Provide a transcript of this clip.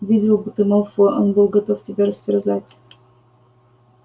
видел бы ты малфоя он был готов тебя растерзать